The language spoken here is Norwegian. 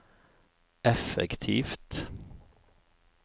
effektivt